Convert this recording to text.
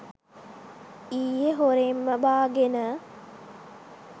ඊයේ හොරෙන්ම බාගෙන